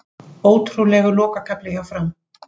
Ótrúlegur lokakafli hjá Fram